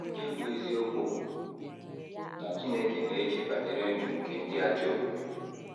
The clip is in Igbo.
Nke bụ́ eziokwu bụ na Chineke na - eche banyere ndụ nke ndị ajọ omume.